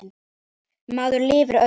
Maður lifir öðrum.